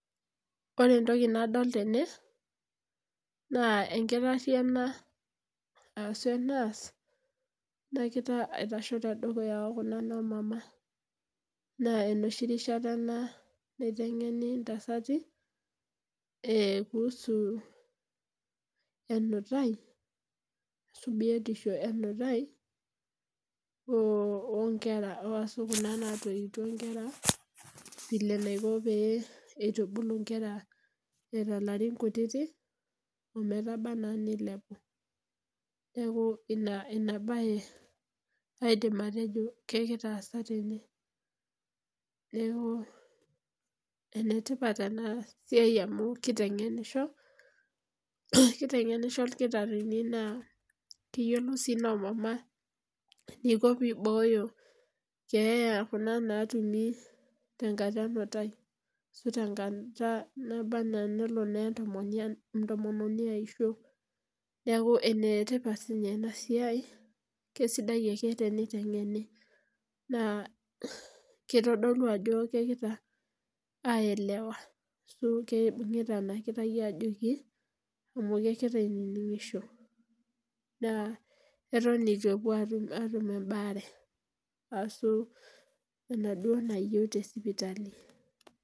Ore entoki nadol tene, naa enkitarri ena asu e nurse, nakita aitasho tedukuya okuna nomama. Naa enoshi rishata ena naiteng'eni intasati, kuhusu enutai, asu biotisho enutai, onkera asu kuna natoiwutuo nkera, vile naiko pee itubulu nkera eeta larin kutitik, ometaba enaa nilepu. Neeku ina enabae aidim atejo, kekira aasa tene. Neeku, enetipat enasiai amu kiteng'enisho, kiteng'enisho irkitaarrini naa, keyiolou si nomama eniko pibooyo keeya ekuna natumi tenkata enutai. Asu tenkata naba enaa nelo naa entomononi aisho. Neeku enetipat sinye enasiai, kesidai ake teniteng'eni. Naa kitodolu ajo kekira aelewa asu keibung'ita enakirai ajoki, amu kekira ainining'isho. Naa, eton eitu epuo atum ebaare, asu enaduo nayieu tesipitali.